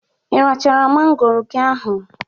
Irachara mangoro gi oge ahụ?